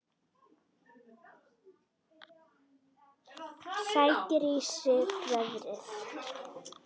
Sækir í sig veðrið.